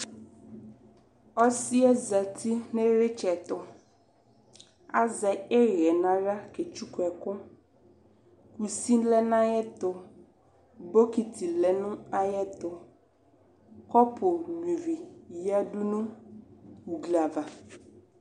ɔsiɛ zati nʋ iritsɛtʋ azɛ ihɛɛ naɣla ketsʋkʋɛkʋ kʋsi lɛ nʋ ayʋɛtʋ bokiti lɛ nʋ ayuɛtʋ kɔpʋʋ nyua ivii yadʋ nʋ ʋgliava